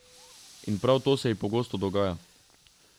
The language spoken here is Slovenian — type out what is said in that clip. In prav to se ji pogosto dogaja.